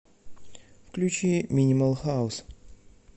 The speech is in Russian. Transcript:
включи минимал хаус